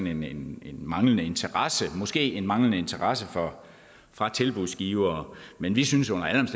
en manglende interesse måske en manglende interesse fra tilbudsgivere men vi synes under alle